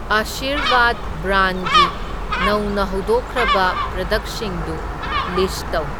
ꯑꯥꯁꯤꯔꯚꯥꯗ ꯕ꯭ꯔꯥꯟꯒꯤ ꯅꯧꯅ ꯍꯧꯗꯣꯛꯈ꯭ꯔꯕ ꯄ꯭ꯔꯗꯛꯁꯤꯡꯗꯨ ꯂꯤꯁꯠ ꯇꯧ꯫